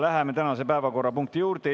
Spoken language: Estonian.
Läheme tänase esimese päevakorrapunkti juurde.